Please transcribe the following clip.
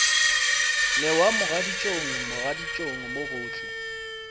newa mogaditšong mogaditšong mo gohle